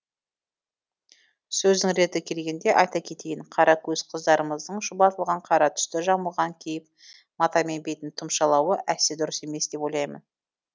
сөздің реті келгенде айта кетейін қара көз қыздарымыздың шұбатылған қара түсті жамылғы киіп матамен бетін тұмшалауы әсте дұрыс емес деп ойлаймын